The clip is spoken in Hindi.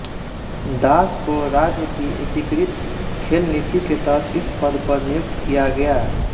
दास को राज्य की एकीकृत खेल नीति के तहत इस पद पर नियुक्त किया गया